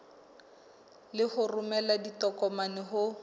le ho romela ditokomane ho